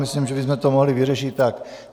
Myslím, že bychom to mohli vyřešit tak.